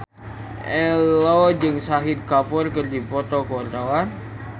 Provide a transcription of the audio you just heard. Ello jeung Shahid Kapoor keur dipoto ku wartawan